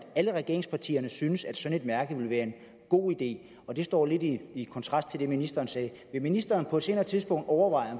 at alle regeringspartierne syntes at sådan et mærke vil være en god idé og det står lidt i i kontrast til det ministeren sagde vil ministeren på et senere tidspunkt overveje